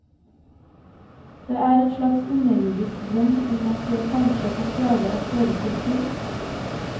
Det er en slags underjordisk drøm om at jeg kanskje kan klare en hørespill til.